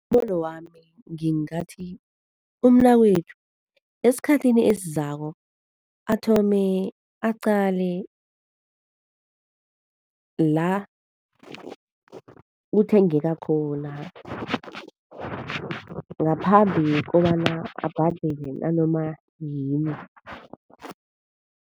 Ngombono wami ngingathi umnakwethu esikhathini esizako athome aqale la kuthengeka khona, ngaphambi kobana abhadele nanomayini.